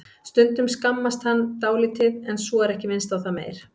Stundum skammast hann dálítið en svo er ekki minnst á það meir.